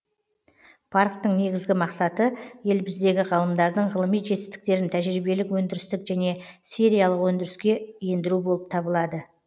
парктің негізгі мақсаты еліміздегі ғалымдардың ғылыми жетістіктерін тәжірибелік өндірістік және сериялық өндіріске ендіру болып табылады